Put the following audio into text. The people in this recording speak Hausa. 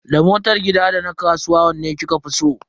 Da motar gida da na kasuwa wanne kika fi so?